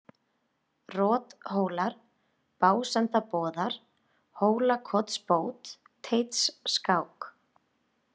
Rothólar, Básendaboðar, Hólakotsbót, Teitsskák